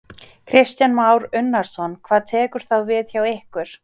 Kristján Már Unnarsson: Hvað tekur þá við hjá ykkur?